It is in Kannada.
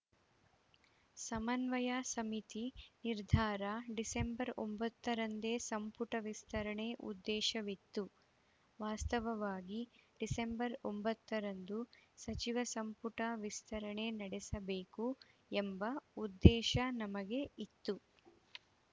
ಸಮನ್ವಯ ಸಮಿತಿ ನಿರ್ಧಾರ ಡಿಸೆಂಬರ್ ಒಂಬತ್ತರಂದೇ ಸಂಪುಟ ವಿಸ್ತರಣೆ ಉದ್ದೇಶವಿತ್ತು ವಾಸ್ತವವಾಗಿ ಡಿಸೆಂಬರ್ ಒಂಬತ್ತರಂದು ಸಚಿವ ಸಂಪುಟ ವಿಸ್ತರಣೆ ನಡೆಸಬೇಕು ಎಂಬ ಉದ್ದೇಶ ನಮಗೆ ಇತ್ತು